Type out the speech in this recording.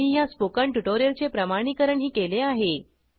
त्यांनी ह्या स्पोकन ट्युटोरियलचे प्रमाणिकरणही केले आहे